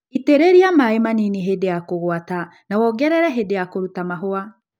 Itĩrĩlia maĩĩ manini hĩndĩ ya kũgwata na wongerele hĩndĩ ya kũruta mahũa